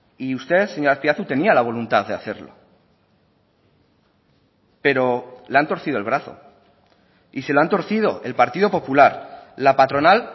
y usted señor azpiazu tenía la voluntad de hacerlo pero le han torcido el brazo y se lo han torcido el partido popular la patronal